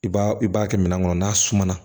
I b'a i b'a kɛ minɛn kɔnɔ n'a sumana